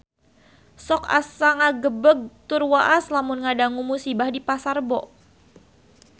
Sok asa ngagebeg tur waas lamun ngadangu musibah di Pasar Rebo